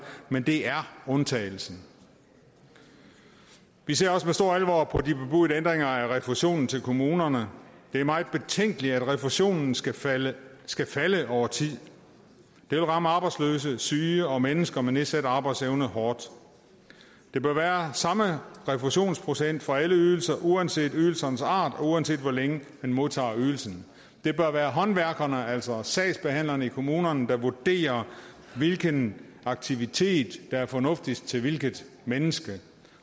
men det er undtagelsen vi ser også med stor alvor på de bebudede ændringer af refusionen til kommunerne det er meget betænkeligt at refusionen skal falde skal falde over tid det vil ramme arbejdsløse syge og mennesker med nedsat arbejdsevne hårdt der bør være samme refusionsprocent for alle ydelser uanset ydelsernes art og uanset hvor længe man modtager ydelsen det bør være håndværkerne altså sagsbehandlerne i kommunerne der vurderer hvilken aktivitet der er fornuftigst til hvilket menneske